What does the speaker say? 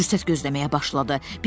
Fürsət gözləməyə başladı.